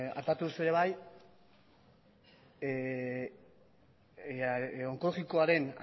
aipatu duzue ere bai onkologikoaren